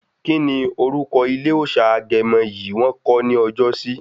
Kíni orúkọ ilé òòsà Agẹmọ yi wọ̀n kọ̀ ní ọjọ́sí?